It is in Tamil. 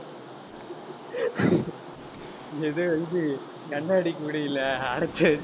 இது ஏதோ வந்து கண்ணாடி கூடைல அடைச்சிவச்சி.